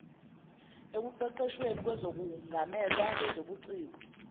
ekuqeqeshweni kwezokungamelwa kwezobuciko